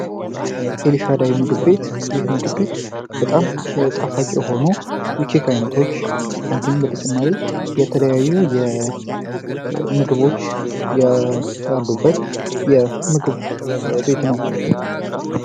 ኤልሻዳይ ምግብ ቤት ይህ ምግብ ቤት በጣም ጣፋጭ የሆኑ የኬክ አይነቶች እንዲሁም የተለያዩ ምግቦች ያሉበት የምግብ ቤት ነው።